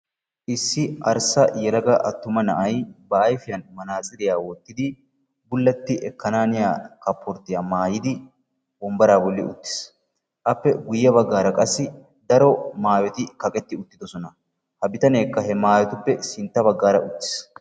Issi arssa yelaga attuma na"ay ba ayfiyan manaatsiriya wottidi gulletti ekkananiyaa kaporttiya maayidi wonbaraa bolli uttis. Appe guye baggaara qassi daro maayoti kaqqeti uttidisona. Ha bitaneekka he maayotuppe sintta baggara uttis.